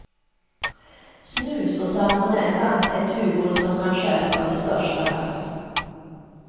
Snus och salmonella är tuvor som kan stjälpa det största lass.